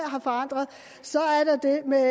så er der det med